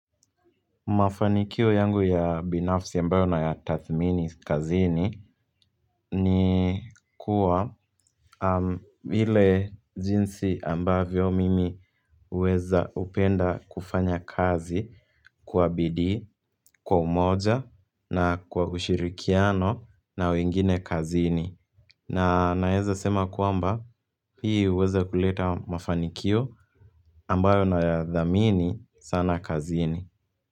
Mafanikio yangu ya binafsi ambayo nayatathmini kazini ni kuwa ile jinsi ambavyo mimi huweza, hupenda kufanya kazi kwa bidii kwa umoja na kwa ushirikiano na wengine kazini. Na naweza sema kwamba hii huweza kuleta mafanikio ambayo nayadhamini sana kazini.